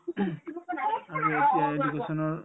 আৰু এতিয়া education ৰ